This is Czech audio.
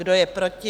Kdo je proti?